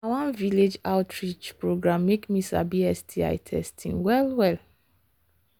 my cousin begin dey use sti testing after she go community health talk.